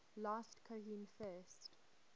last cohen first